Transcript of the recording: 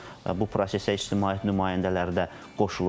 Sonra bu prosesə ictimaiyyət nümayəndələri də qoşulur.